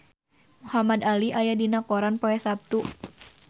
Muhamad Ali aya dina koran poe Saptu